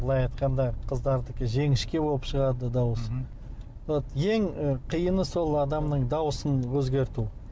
былай айтқанда қыздардікі жіңішке болып шығады дауысы вот ең ы қиыны сол адамның дауысын өзгерту